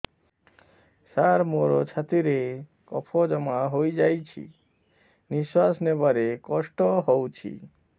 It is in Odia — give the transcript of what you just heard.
ସାର ମୋର ଛାତି ରେ କଫ ଜମା ହେଇଯାଇଛି ନିଶ୍ୱାସ ନେବାରେ କଷ୍ଟ ହଉଛି